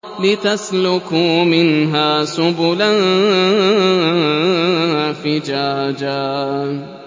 لِّتَسْلُكُوا مِنْهَا سُبُلًا فِجَاجًا